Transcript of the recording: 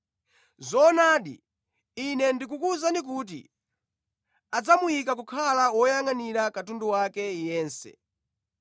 Zoonadi, Ine ndikukuwuzani kuti adzamuyika kukhala woyangʼanira katundu wake yense.